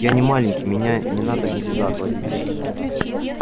я не маленький меня не надо никуда отводить